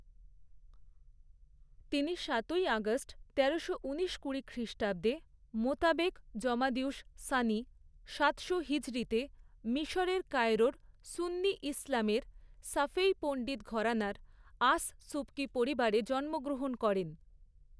তিনি সাতই আগস্ট তেরোশো ঊনিশ কুড়ি খ্রিস্টাব্দে, মোতাবেক জমাদিউস সানি সাতশো হিজরিতে, মিশরের কায়রোয় সুন্নি ইসলামের শাফেঈ পণ্ডিত ঘরানার আস সুবকি পরিবারে জন্মগ্রহণ করেন।